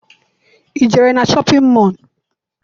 I jere na shọpịn mọọ?